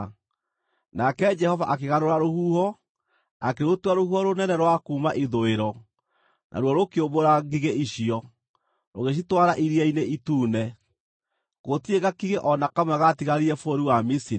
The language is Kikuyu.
Nake Jehova akĩgarũra rũhuho, akĩrũtua rũhuho rũnene rwa kuuma ithũĩro, naruo rũkĩũmbũra ngigĩ icio, rũgĩcitwara Iria-inĩ Itune. Gũtirĩ gakigĩ o na kamwe gaatigarire bũrũri wa Misiri.